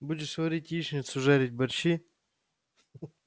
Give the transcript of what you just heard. будешь варить яичницу жарить борщи